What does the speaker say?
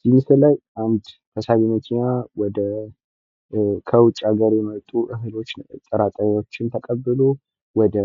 እዚህ ምስል ላይ አንድ ተሳቢ መኪና ከውጭ ሀገር የመጡ እህሎችን ወይም ጥራጥሬወችን ተቀብሎ ወደ